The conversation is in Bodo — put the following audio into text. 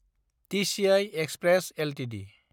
TCI Express Ltd